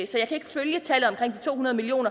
så jeg kan ikke følge tallet to hundrede million